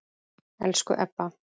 Elsku Ebba.